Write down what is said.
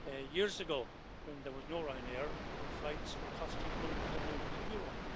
Years ago, when there was no Ryanair, flights were costing hundreds and hundreds of euro.